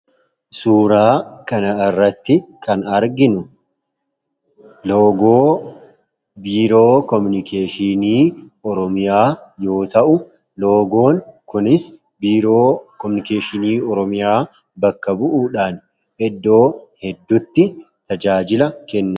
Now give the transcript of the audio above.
Suuraa kana irratti kan nuti arginu, loogoo biiroo kominikeeshinii Oromiyaa yoo ta'u, loogoon kunis biiroo kominikeeshinii Oromiyaa bakka bu'uudhaan iddoo hedduutti tajaajila kennudha.